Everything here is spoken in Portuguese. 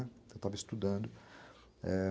Eu estava estudando.